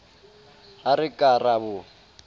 ha re ka ra bo